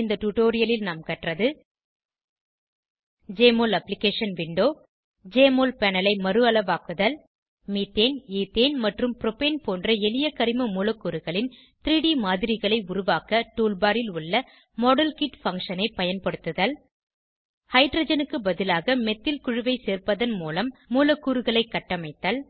இந்த டுடோரியலில் நாம் கற்றது160 JMOL application window JMOL panel ஐ மறுஅளவாக்குதல் மீத்தேன் ஈத்தேன் மற்றும் ப்ரோபேன் போன்ற எளிய கரிம மூலக்கூறுகளின் 3ட் மாதிரிகளை உருவாக்க டூல் பார் ல் உள்ள மாடல்கிட் பங்ஷன் ஐ பயன்படுத்துதல் ஹைட்ரஜனுக்கு பதிலாக மெத்தில் குழுவை சேர்ப்பதன் மூலம் மூலக்கூறுகளை கட்டமைத்தல்